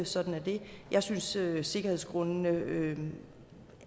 sådan er det jeg synes sikkerhedsgrundene